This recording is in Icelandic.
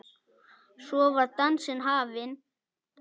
Svo var dansinn hafinn.